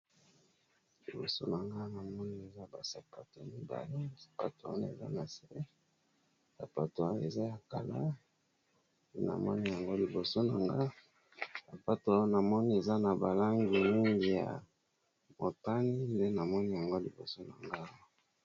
Liboso na nga na moni eza ba sapato ya mibali. Sapato wana eza na se. Sapato wana eza ya kala. Na moni yango liboso na nga. Sapato oyo na moni eza na ba langi mingi. Ya motani nde na moni yango liboso na nga.